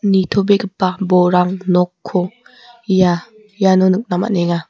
nitobegipa borang nokko ia iano nikna man·enga.